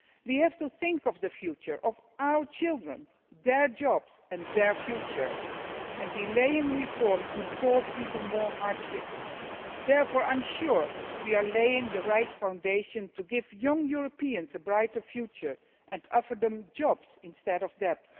We have to think of the future, of our children, their jobs and their future. Delaying reforms would cause even more hardship. Therefore, I am sure we are laying the right foundations to give young Europeans a brighter future and offer them jobs instead of